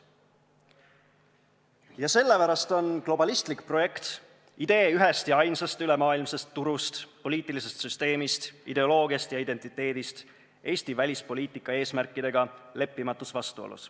Ja sellepärast on globalistlik projekt, idee ühest ja ainsast ülemaailmsest turust, poliitilisest süsteemist, ideoloogiast ja identiteedist Eesti välispoliitika eesmärkidega leppimatus vastuolus.